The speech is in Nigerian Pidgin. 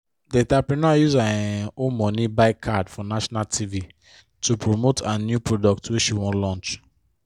di entrepreneur use her um own money buy card for national tv to promote her new product wey she wan launch